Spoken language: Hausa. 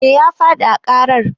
Eh ya fadi a ƙarar.